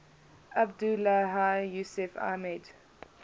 abdullahi yusuf ahmed